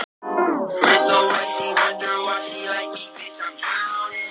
En hvað sýndi reynslan og hvað dýrt hefur þetta ævintýri orðið okkur?